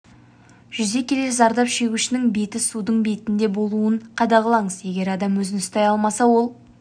жүзе келе зардап шегушінің беті судың бетінде болуын қадағалаңыз егер адам өзін ұстай алмаса ол